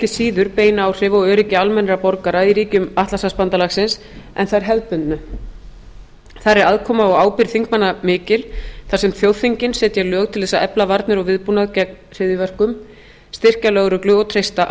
síður bein áhrif á öryggi almennra borgara í ríkjum atlantshafsbandalagsins en þær hefðbundnu þar er aðkoma og ábyrgð þingmanna mikil þar sem þjóðþingin setja lög til þess að efla varnir og viðbúnað gegn hryðjuverkum styrkja lögreglu og treysta